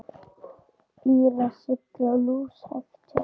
Bílar sigla lúshægt hjá.